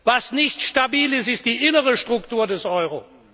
Was nicht stabil ist, ist die innere Struktur des Euro.